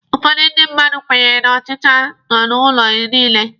Ụfọdụ ndị mmadụ kwenyere na ọchicha nọ n'ụlọ niile.